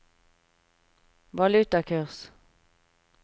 valutakurs